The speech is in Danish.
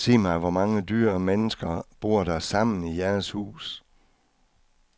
Sig mig, hvor mange dyr og mennesker bor der sammen i jeres hus.